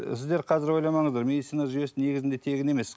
ы сіздер қазір ойламаңыздар медицина жүйесі негізінде тегін емес